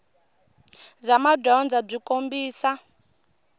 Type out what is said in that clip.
bya madyondza byi kombisa